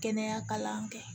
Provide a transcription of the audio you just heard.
Kɛnɛya kalan kɛ